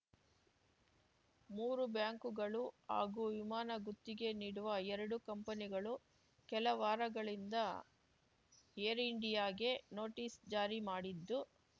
ಮೂರು ಬ್ಯಾಂಕುಗಳು ಹಾಗೂ ವಿಮಾನ ಗುತ್ತಿಗೆ ನೀಡುವ ಎರಡು ಕಂಪನಿಗಳು ಕೆಲ ವಾರಗಳಿಂದ ಏರ್‌ ಇಂಡಿಯಾಗೆ ನೋಟಿಸ್‌ ಜಾರಿ ಮಾಡಿದ್ದು